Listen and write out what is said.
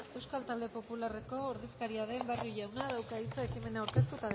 euskal talde popularreko ordezkaria den barrio jaunak dauka hitz ekimena aurkeztu